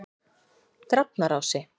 Drafnarási